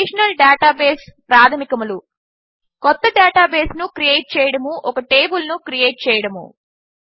relational database ప్రాధమికములు కొత్త డేటాబేస్ను క్రియేట్ చేయడము ఒక టేబిల్ను క్రియేట్ చేయడము